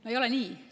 No ei ole nii.